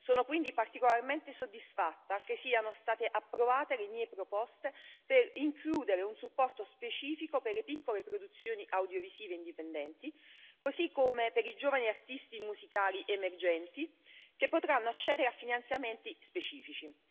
Sono quindi particolarmente soddisfatta che siano state approvate le mie proposte per includere un supporto specifico per le piccole produzioni audiovisive indipendenti, così come per i giovani artisti musicali emergenti, che potranno accedere a finanziamenti specifici.